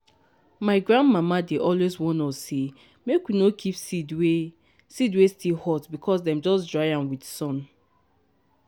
my grandmama dey always warn us say make we not keep seed wey seed wey still hot because dem just dry am with sun.